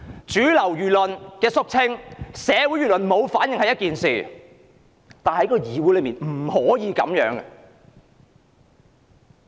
主流輿論的肅清或社會輿論沒反應是一回事，但議會之內卻絕對不可以這樣。